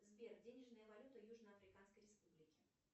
сбер денежная валюта южно африканской республики